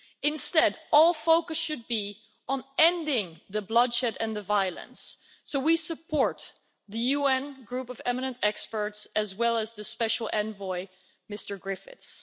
Instead, all focus should be on ending the bloodshed and the violence, so we support the UN Group of Eminent Experts, as well as the Special Envoy, Mr Griffiths.